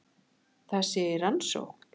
Það sé í rannsókn